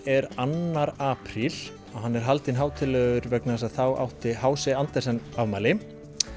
er annar apríl og hann er haldinn hátíðlegur vegna þess að þá átti h c Andersen afmæli